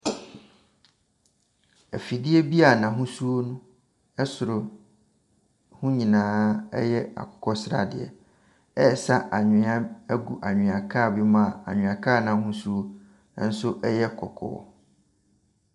Afidie bi a n’ahosuo no soro ho nyinaa yɛ akokɔsradeɛ, ɛresa anwea agu anwea kaa bi mu a anwea kaa n’ahosuo nso yɛ kɔkɔɔ.